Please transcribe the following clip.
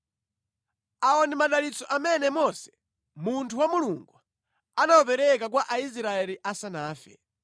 Awa ndi madalitso amene Mose, munthu wa Mulungu, anawapereka kwa Aisraeli asanafe.